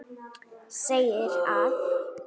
segir að